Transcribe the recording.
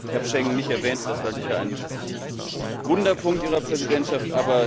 Ich habe Schengen nicht erwähnt, das war sicher ein wunder Punkt Ihrer Präsidentschaft.